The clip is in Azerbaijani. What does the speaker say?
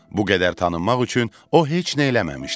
Bu qədər tanınmaq üçün o heç nə eləməmişdi.